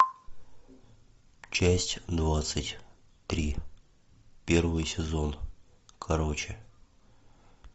часть двадцать три первый сезон короче